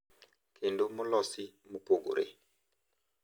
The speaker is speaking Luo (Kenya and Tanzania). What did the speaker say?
Kendo molosi mopogore.